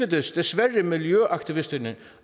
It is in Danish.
desværre miljøaktivisterne